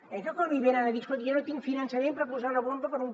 eh que quan li venen a dir escolti jo no tinc finançament per posar una bomba per a un